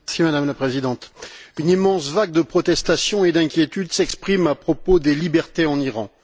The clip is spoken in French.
Madame la Présidente, une immense vague de protestations et d'inquiétude se lève à propos des libertés en Iran.